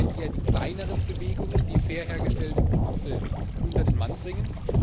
Es sind ja im Moment eher die kleineren Bewegungen, die fair hergestellte Produkte an den Mann bringen.